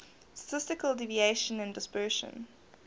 statistical deviation and dispersion